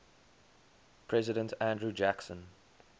president andrew jackson